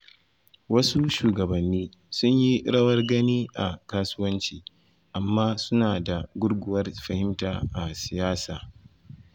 Wasu shugabanni sun yi rawar gani a kasuwanci amma suna da gurguwar fahimta a siyasa.